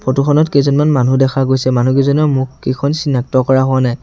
Photo খনত কেইজনমান মানুহ দেখা গৈছে মানুহকেইজনৰ মুখকেইখন চিনাক্ত কৰা হোৱা নাই।